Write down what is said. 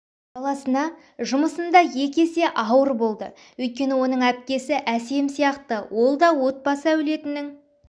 баласына жұмысында екі есе ауыр болды өйткені оның әпкесі әсем сияқты ол да отбасы әулетінің